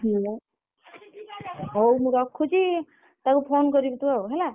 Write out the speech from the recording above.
ହୁଁ ବା ହଉ ମୁଁ ରଖୁଛି ତାକୁ phone କରିବୁ ତୁ ହେଲା।